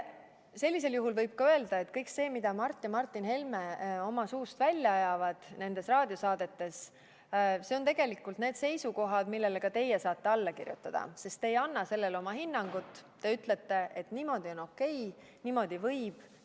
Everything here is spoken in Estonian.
Siis võib öelda, et kõik see, mida Mart ja Martin Helme nendes raadiosaadetes suust välja ajavad, on tegelikult need seisukohad, millele ka teie saate alla kirjutada, sest te ei anna sellele oma hinnangut, te ütlete, et niimoodi on okei, niimoodi võib.